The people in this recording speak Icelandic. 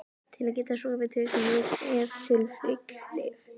Til að geta sofið tökum við ef til vill lyf.